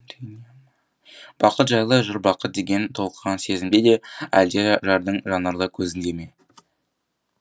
бақыт жайлы жыр бақыт деген толқыған сезімде ме әлде жардың жанарлы көзінде ме